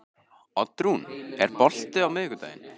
Oddrún, er bolti á miðvikudaginn?